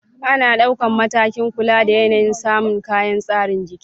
Ana dauka matakin kula da yanayin samun kayan tsare jiki